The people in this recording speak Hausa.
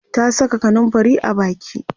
ta Saka kanumfari a Baki